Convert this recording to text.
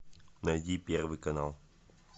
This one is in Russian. найди первый канал